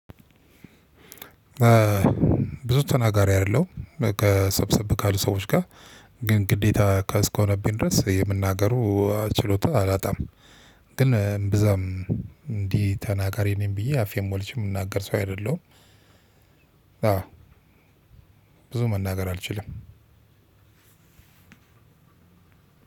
ብዙ ተናጋሪ አይደለሁም በቃ ሰብሰብ ካሉ ሰዎች ጋ ግን ግዴታ እስከሆነብኝ ድረስ የመናገሩ ችሎታ አላጣም። ግን እምብዛም እንዲህ ተናጋሪ ነኝ ብዬ አፌን ሞልቼ ምናገር ሰው አይደለሁም። ብዙ መናገር አልችልም።